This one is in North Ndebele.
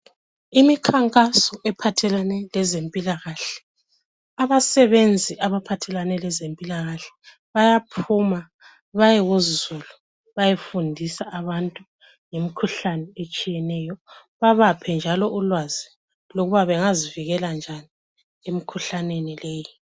Imikhankaso ephathelane lezempilakahle , abasebenzi abaphathelane lezempilakahle bayaphuma bayekuzulu bayefundisa abantu ngemikhuhlane etshiyeneyo babaphe njalo ulwazi lokuba bengazivikela njani emikhuhlaneni leyi.